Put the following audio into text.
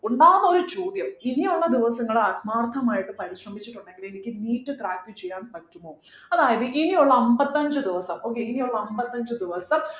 ഉണ്ടാവുന്ന ഒരു ചോദ്യം ഇനിയുള്ള ദിവസങ്ങൾ ആത്മാർത്ഥമായിട്ട് പരിശ്രമിച്ചിട്ടുണ്ടെങ്കില് എനിക്ക് NEET crack ചെയ്യാൻ പറ്റുമോ അതായത് ഇനിയുള്ള അമ്പത്തഞ്ചു ദിവസം okay ഇനിയുള്ള അമ്പത്തഞ്ചു ദിവസം